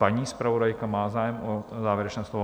Paní zpravodajka má zájem o závěrečné slovo?